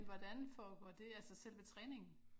Hvordan foregår det altså selve træningen?